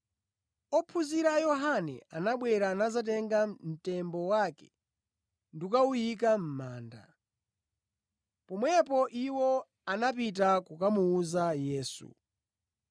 Ophunzira a Yohane anabwera nadzatenga mtembo wake ndi kukawuyika mʼmanda. Pomwepo iwo anapita kukamuwuza Yesu.